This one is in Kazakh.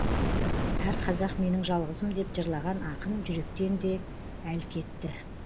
әр қазақ менің жалғызым деп жырлаған ақын жүректен де әл кетті